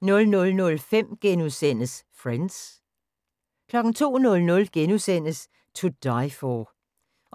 00:05: Friends * 02:00: To Die for